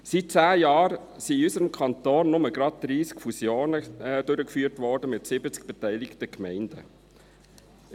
Seit zehn Jahren wurden in unserem Kanton nur gerade 30 Fusionen mit 70 beteiligten Gemeinden durchgeführt.